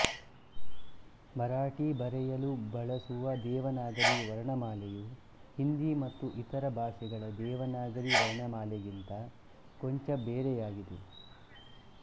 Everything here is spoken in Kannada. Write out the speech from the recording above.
ಮರಾಠಿ ಬರೆಯಲು ಬಳಸುವ ದೇವನಾಗರಿ ವರ್ಣಮಾಲೆಯು ಹಿಂದಿ ಮತ್ತು ಇತರ ಭಾಷೆಗಳ ದೇವನಾಗರಿ ವರ್ಣಮಾಲೆಗಿಂತ ಕೊಂಚ ಬೇರೆಯಾಗಿದೆ